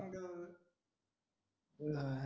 अं